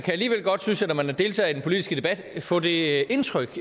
deltager i den politiske debat kan få det indtryk